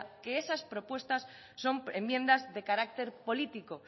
que esas propuestas son enmiendas de carácter político